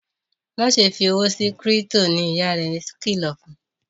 Máṣe fí òwò sí crypto! ní ìyá rẹ kìlọ fún.